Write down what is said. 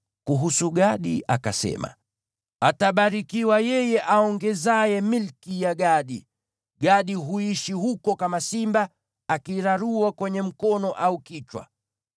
Kuhusu Gadi akasema: “Atabarikiwa yeye aongezaye milki ya Gadi! Gadi huishi huko kama simba, akirarua kwenye mkono au kichwa.